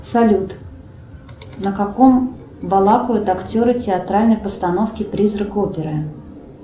салют на каком балакают актеры театральной постановки призрак оперы